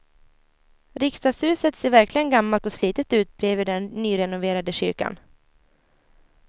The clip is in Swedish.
Riksdagshuset ser verkligen gammalt och slitet ut bredvid den nyrenoverade kyrkan.